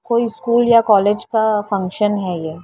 कोई स्कूल या कॉलेज का फंक्शन है ये --